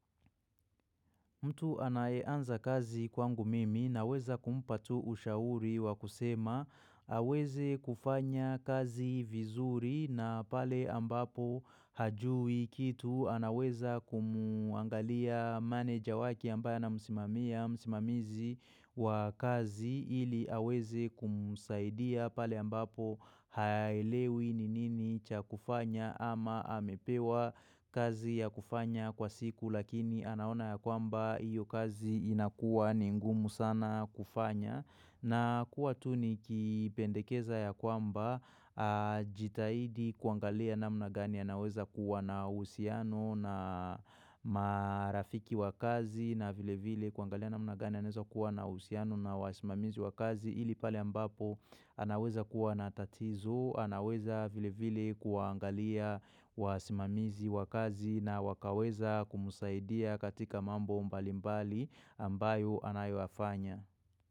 Mtu anaeanza kazi kwangu mimi naweza kumpa tu ushauri wa kusema aweze kufanya kazi vizuri na pale ambapo hajui kitu anaweza kumuangalia manager waki ambaya na msimamia msimamizi wa kazi ili aweze kumusaidia pale ambapo haelewi ninini cha kufanya ama amepewa kazi ya kufanya kwa siku lakini anaona ya kwamba iyo kazi inakuwa ningumu sana kufanya na kuwa tu nikipendekeza ya kwamba jitahidi kuangalia na mna gani anaweza kuwa na uhusiano na marafiki wa kazi na vile vile kuangalia na mna gani anaweza kuwa na usiano na wasimamizi wa kazi ili pale ambapo anaweza kuwa na tatizo anaweza vile vile kuangalia wasimamizi wa kazi na wakaweza kumusaidia katika mambo mbalimbali ambayo anayofanya.